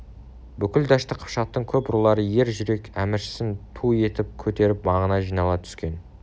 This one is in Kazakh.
бүкіл дәшті қыпшақтың көп рулары ер жүрек әміршісін ту етіп көтеріп маңына жинала түскен